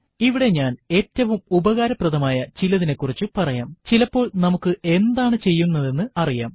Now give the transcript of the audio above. ഇവിടെ ഞാൻ ഏറ്റവും ഉപകാരപ്രദമായ ചിലതിനെക്കുറിച്ച് പറയാംചിലപ്പോൾ നമുക്ക് എന്താണ് ചെയ്യേണ്ടുന്നത് എന്നറിയാം